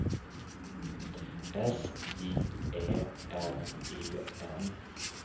S J Ä L E N